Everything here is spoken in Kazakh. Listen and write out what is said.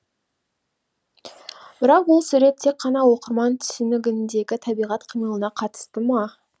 бірақ бұл сурет тек қана оқырман түсінігіндегі табиғат қимылына қатысты ма